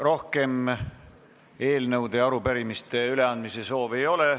Rohkem eelnõude ja arupärimiste üleandmise soove ei ole.